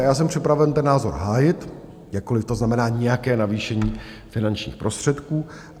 A já jsem připraven ten názor hájit, jakkoliv to znamená nějaké navýšení finančních prostředků.